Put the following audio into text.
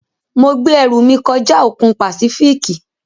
Mo gbẹ́ ẹrù mí kọjá òkun Pàsífíìkì.